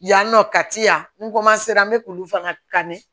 Yan nɔ ka ti yan n n bɛ k'olu fana kan de